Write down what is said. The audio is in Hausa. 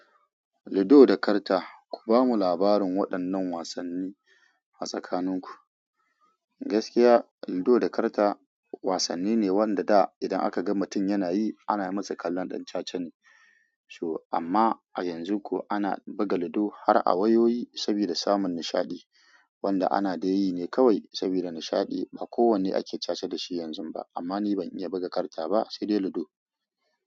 Ludo da karta. Ku bamu labarin waɗannan wasanni a tsakanin ku? Gaskiya, ludo da karta wasanni ne wanda da idan aka ga mutum yana yi ana masa kallon ɗan cacane. So amma a yanzu ko ana buga ludo har a wayoyi saboda samun nishaɗi wanda ana da yi ne kawai saboda nishaɗi. Ba kowanne ake caca da shi yanzu ba amma ni ban iya buga karta ba sai dai ludo.